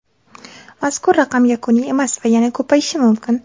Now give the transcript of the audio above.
Mazkur raqam yakuniy emas va yana ko‘payishi mumkin.